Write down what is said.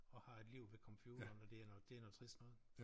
Og har et liv ved computeren og det er noget det er noget trist noget